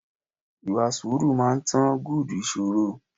Ìwà sùúrù máa ń tán good ìṣòro.